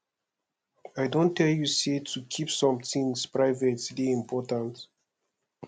i don tell you sey to keep some tins private dey important